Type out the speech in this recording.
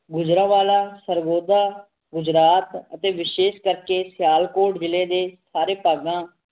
ਮੁਜਰਾਵਾਲਾ ਸ੍ਰਵੋਧਾ ਗੁਜਰਾਤ ਅਤੇ ਵਿਸ਼ੇਸ਼ ਕਰਕੇ ਸਿਆਲਕੋਟ ਜਿਲੇ ਦੇ ਸਾਰੇ ਭਾਗਾਂ